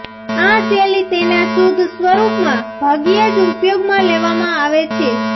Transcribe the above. આ શૈલી તેના શુદ્ધ સ્વરૂપમાં ભાગ્યે જ ઉપયોગમાં લેવામાં આવે છે